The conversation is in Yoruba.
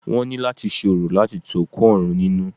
Wọ́n ní láti ṣe orò láti tu òkú òrun nínú.